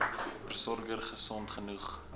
versorger gesond genoeg